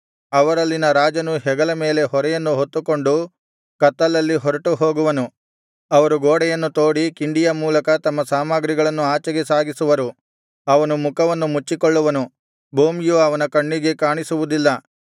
ಅವರಲ್ಲಿನ ರಾಜನು ಹೆಗಲ ಮೇಲೆ ಹೊರೆಯನ್ನು ಹೊತ್ತುಕೊಂಡು ಕತ್ತಲಲ್ಲಿ ಹೊರಟು ಹೋಗುವನು ಅವರು ಗೋಡೆಯನ್ನು ತೋಡಿ ಕಿಂಡಿಯ ಮೂಲಕ ತಮ್ಮ ಸಾಮಗ್ರಿಗಳನ್ನು ಆಚೆಗೆ ಸಾಗಿಸುವರು ಅವನು ಮುಖವನ್ನು ಮುಚ್ಚಿಕೊಳ್ಳುವನು ಭೂಮಿಯು ಅವನ ಕಣ್ಣಿಗೆ ಕಾಣಿಸುವುದಿಲ್ಲ